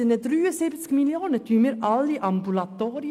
Mit diesen 73 Mio Franken finanzieren wir sämtliche Ambulatorien.